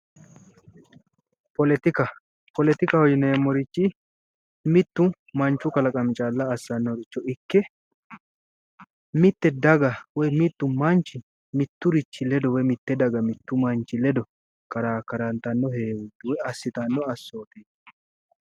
Politika politihaho yinemmorichi mittu manchu kalaqami calla assannore ikke mitte daga woy mittu manchi mitturichi ledo woy mitte daga ledo mittu manchi ledo karakkarantanno heewoori woy assitanno assooteeti.